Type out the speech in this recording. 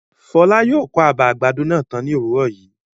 Fọlá yóò kọ́ àbà àgbàdo náà tán ní òwúrọ̀ yìí.